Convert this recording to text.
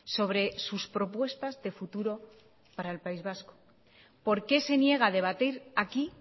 sobre sus propuestas de futuro para el país vasco por qué se niega a debatir aquí